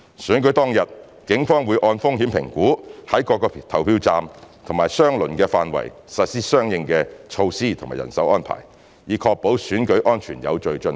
選舉當日，警方會按風險評估在各個投票站及相鄰範圍實施相應的措施及人手安排，以確保選舉安全有序進行。